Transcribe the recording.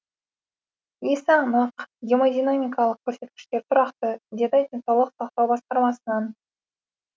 есі анық гемодинамикалық көрсеткіштері тұрақты деді денсаулық сақтау басқармасынан